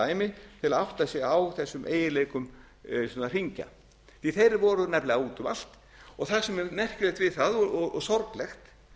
að átta sig á þessum eiginleikum svona hringja því þeir voru nefnilega út um allt það sem er merkilegt við það og sorglegt